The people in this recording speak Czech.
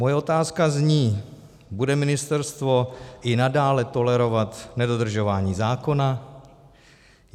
Moje otázka zní: Bude ministerstvo i nadále tolerovat nedodržování zákona?